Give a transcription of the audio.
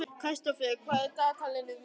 Kristófer, hvað er í dagatalinu mínu í dag?